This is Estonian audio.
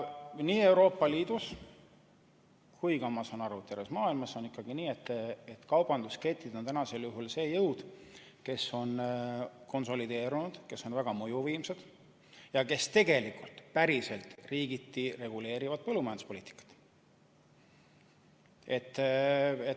Nii Euroopa Liidus kui ka, ma saan aru, terves maailmas on ikkagi nii, et kaubandusketid on see jõud, kes on konsolideerunud, kes on väga mõjuvõimsad ja kes tegelikult riikides reguleerivad põllumajanduspoliitikat.